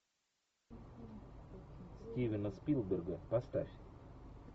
стивена спилберга поставь